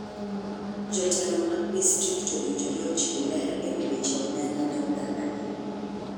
Jotelo mad distrikt owinjore ochiw ler ewi weche omenda ne oganda gi.